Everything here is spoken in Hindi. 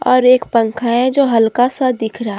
और एक पंखा है जो हल्का सा दिख रहा--